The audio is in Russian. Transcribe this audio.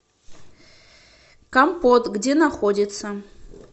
компот где находится